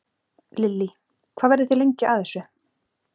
Lillý: Hvað verðið þið lengi að þessu?